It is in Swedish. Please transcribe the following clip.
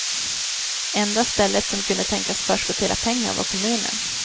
Enda stället som kunde tänkas förskottera pengar var kommunen.